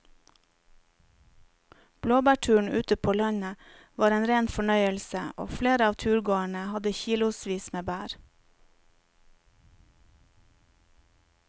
Blåbærturen ute på landet var en rein fornøyelse og flere av turgåerene hadde kilosvis med bær.